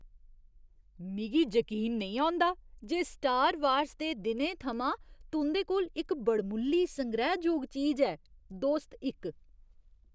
मिगी जकीन नेईं औंदा जे स्टार वार्स दे दिनें थमां तुं'दे कोल इक बड़मुल्ली संग्रैह्जोग चीज ऐ। दोस्त इक